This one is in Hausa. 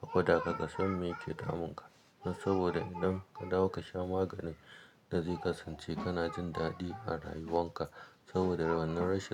a gwada ka ka san me yake damunka. Dan saboda idan ka dawo ka sha maganin da zai kasance kana jin daɗi a rayuwanka saboda wannan rashin.